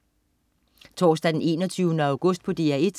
Torsdag den 21. august - DR 1: